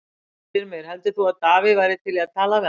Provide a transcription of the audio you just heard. Styrmir, heldur þú að Davíð væri til í að tala við hann?